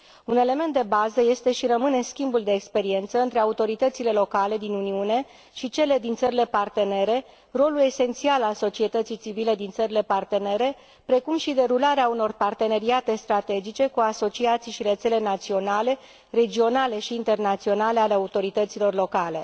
Un element de bază este și rămâne schimbul de experiență între autoritățile locale din Uniune și cele din țările partenere, rolul esențial al societății civile din țările partenere, precum și derularea unor parteneriate strategice cu asociații și rețele naționale, regionale și internaționale ale autorităților locale.